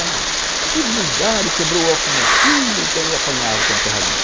Ah, eles brigaram e quebrou o óculos do meu filho, então eu apanhava tanto por causa disso.